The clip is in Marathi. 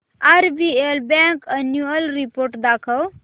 आरबीएल बँक अॅन्युअल रिपोर्ट दाखव